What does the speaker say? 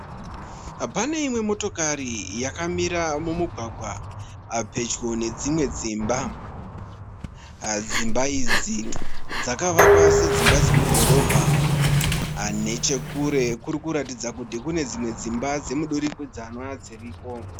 Pane imwe motokari yakamira mumugwagwa pedyo nedzimwe dzimba. Dzimba idzi dzakavakwa sedzimba dzemudhorobha. Neche kure kuri kuratidza kuti kune dzimwe dzimba dzemudurikidzanwa dziriko.